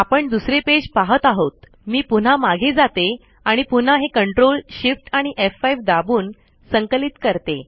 आपण दुसरे पेज पाहत आहोत मी पुन्हा मागे जाते आणि पुन्हा हे ctrl shift आणि एफ5 दाबून संकलित करते